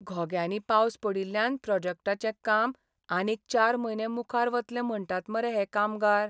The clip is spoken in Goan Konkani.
घोग्यांनी पावस पडिल्ल्यान प्रॉजेक्टाचें काम आनीक चार म्हयने मुखार वतलें म्हणटात मरे हे कामगार.